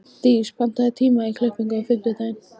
Dís, pantaðu tíma í klippingu á fimmtudaginn.